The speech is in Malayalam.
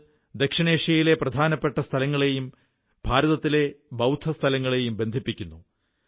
അത് ദക്ഷിണേഷ്യയിലെ പ്രധാനപ്പെട്ട സ്ഥലങ്ങളെയും ഭാരതത്തിലെ ബൌദ്ധ സ്ഥലങ്ങളെയും ബന്ധിപ്പിക്കുന്നു